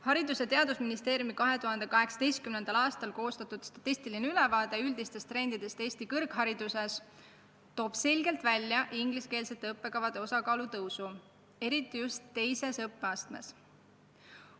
Haridus- ja Teadusministeeriumi 2018. aastal koostatud statistiline ülevaade üldistest trendidest Eesti kõrghariduses toob selgelt välja ingliskeelsete õppekavade osakaalu kasvu, eriti just teises õppeastmes.